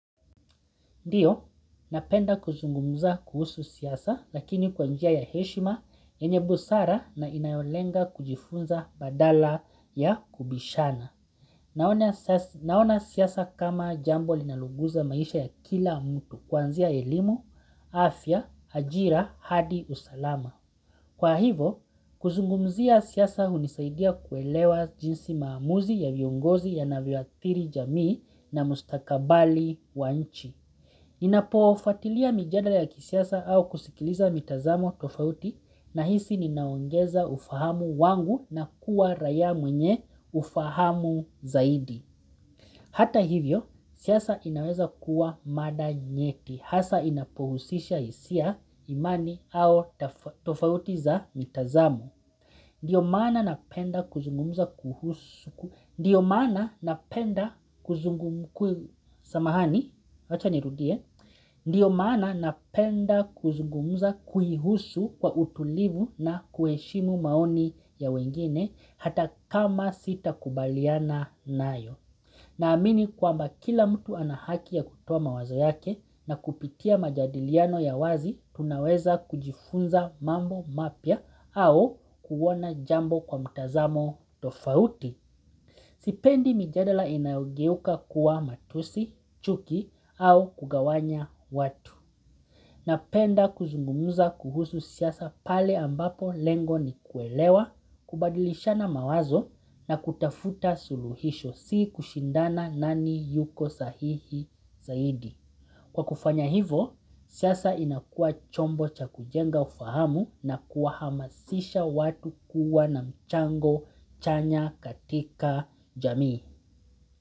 Ndiyo, napenda kuzungumza kuhusu siasa, lakini kwanjia ya heshima, yenye busara na inayolenga kujifunza badala ya kubishana. Naona siasa kama jambo linaluguza maisha ya kila mtu, kwanzia elimu, afya, ajira, hadi, usalama. Kwa hivo, kuzungumzia siasa unisaidia kuelewa jinsi maamuzi ya viongozi yanavyoathiri jamii na mustakabali wa nchi. Ninapofatilia mijadala ya kisiasa au kusikiliza mitazamo tofauti na hisi ninaongeza ufahamu wangu na kuwa raia mwenye ufahamu zaidi Hata hivyo siasa inaweza kuwa mada nyeti hasa inapohusisha hisia imani au tofauti za mitazamo napenda kuzungumza kuhusu ndio maana napenda kuzungumza samahani, wacha nirudie ndio maana napenda kuzungumza kuihusu kwa utulivu na kueshimu maoni ya wengine hata kama sita kubaliana nayo. Naamini kwamba kila mtu anahaki ya kutoa mawazo yake na kupitia majadiliano ya wazi, tunaweza kujifunza mambo mapya au kuona jambo kwa mtazamo tofauti, sipendi mijadala inayogeuka kuwa matusi, chuki au kugawanya watu. Napenda kuzungumza kuhusu siasa pale ambapo lengo ni kuelewa, kubadilishana mawazo na kutafuta suluhisho si kushindana nani yuko sahihi zaidi. Kwa kufanya hivo, siasa inakua chombo cha kujenga ufahamu na kuahamasisha watu kuwa na mchango chanya katika jamii.